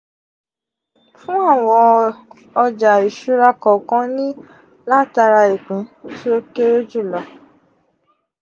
fún àwọn ọjà ìṣura kọ̀ọ̀kan ni látara ìpín tí ó kéré jùlọ